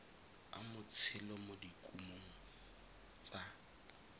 a motshelo mo dikumong tsa